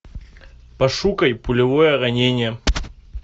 пошукай пулевое ранение